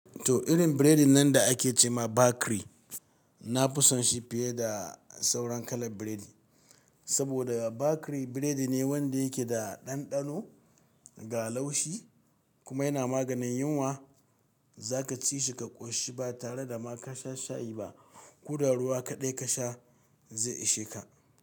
To, irin burodi nan da ake ce ma bakri, na fi son shi fiye da sauran kalar burodi. Saboda bakiri burodi ne wanda yake da ɗanɗano ga laushi kuma yana maganin yunwa. Zaka ci shi ka ƙoshi ba tare da ma ka sha shayi ba. Ko da ruwa kaɗai ka sha zai ishe ka.